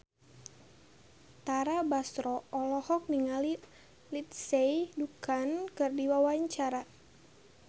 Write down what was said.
Tara Basro olohok ningali Lindsay Ducan keur diwawancara